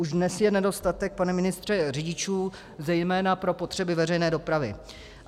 Už dnes je nedostatek, pane ministře, řidičů zejména pro potřeby veřejné dopravy.